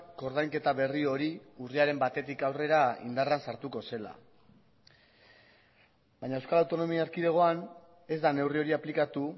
koordainketa berri hori urriaren batetik aurrera indarrean sartuko zela baina euskal autonomia erkidegoan ez da neurri hori aplikatu